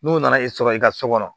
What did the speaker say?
N'o nana i sɔrɔ i ka so kɔnɔ